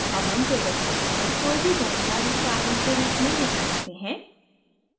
अब हम table के अंदर कोई भी जानकारी सारणी के रूप में लिख सकते हैं